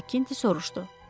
Makti soruşdu.